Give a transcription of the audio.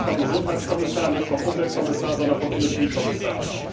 Nicht vom Gesundheitskommissar, nicht vom Umweltkommissar, sondern vom Industriekommissar.